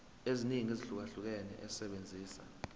eziningi ezahlukahlukene esebenzisa